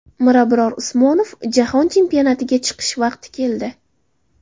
Mirabror Usmonov: Jahon chempionatiga chiqish vaqti keldi .